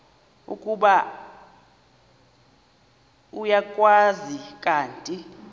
ukuba uyakwazi kanti